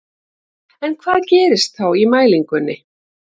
En hvað gerist þá í mælingunni?